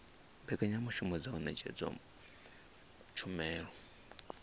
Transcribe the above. mbekanyamushumo dza u ṅetshedza tshumelo